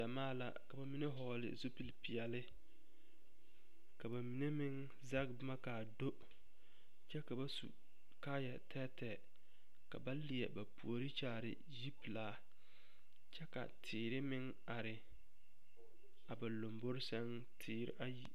Gyamaa la ka ba mine vɔgle zupilipeɛle ka ba mine meŋ zege boma ka a do kyɛ ka ba su kaaya tɛɛtɛɛ ka ba leɛ ba puori kyaare yipelaa kyɛ ka teere meŋ are a ba lombori sɛŋ teere ayi.